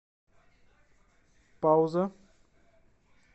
пауза